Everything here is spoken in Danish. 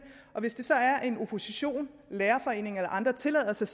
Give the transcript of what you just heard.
og hvis det så er at oppositionen lærerforeningen eller andre tillader sig